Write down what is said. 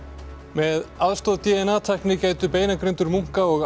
með aðstoð d n a tækni gætu beinagrindur munka og